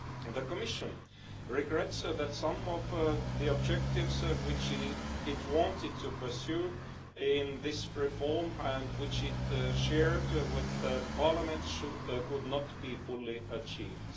The Commission regrets that some of the objectives which it wanted to pursue in this reform and which it shared with Parliament could not be fully achieved.